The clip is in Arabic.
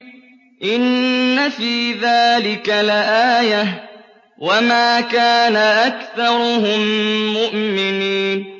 إِنَّ فِي ذَٰلِكَ لَآيَةً ۖ وَمَا كَانَ أَكْثَرُهُم مُّؤْمِنِينَ